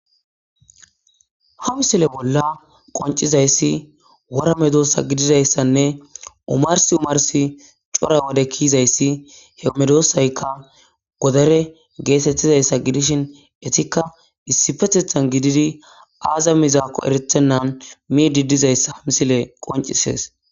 ha misile bolla qoncizayssi woramedoossa gididayssanne umars umarsi cora wode kiizayssi he medossaykka godare geesettizayssa gidishin etikka issi fetethan gididi aaza mizaakko erethennan mi diddizayssa misile qoncisees